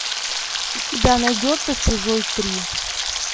у тебя найдется чужой три